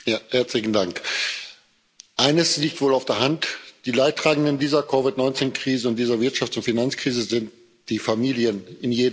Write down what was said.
Frau Präsidentin! Eines liegt wohl auf der Hand Die Leidtragenden dieser COVID-19 Krise und dieser Wirtschafts und Finanzkrise sind die Familien in jedem Land.